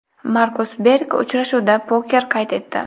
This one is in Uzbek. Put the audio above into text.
Markus Berg uchrashuvda poker qayd etdi.